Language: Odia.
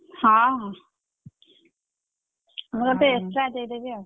ହଁ ହଁ ମୁଁ ତତେ extra ଦେଇ ଦେବି ଆଉ।